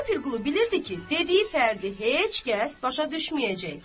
Molla Pirqulu bilirdi ki, dediyi fərdi heç kəs başa düşməyəcək.